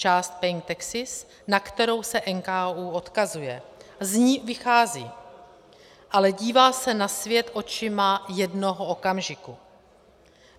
Část Paying taxis, na kterou se NKÚ odkazuje, z ní vychází, ale dívá se na svět očima jednoho okamžiku.